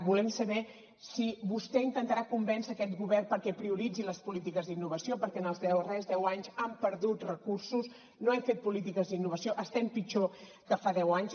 volem saber si vostè intentarà convèncer aquest govern perquè prioritzi les polítiques d’innovació perquè en els darrers deu anys han perdut recursos no hem fet polítiques d’innovació estem pitjor que fa deu anys